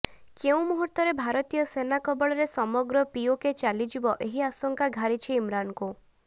କେଉଁ ମୁହୂର୍ତ୍ତରେ ଭାରତୀୟ ସେନା କବଳରେ ସମଗ୍ର ପିଓକେ ଚାଲିଯିବ ଏହି ଆଶଙ୍କା ଘାରିଛି ଇମ୍ରାନଙ୍କୁ